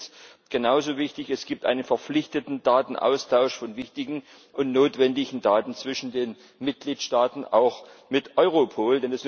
Und genauso wichtig es gibt einen verpflichtenden Datenaustausch von wichtigen und notwendigen Daten zwischen den Mitgliedstaaten, auch mit Europol.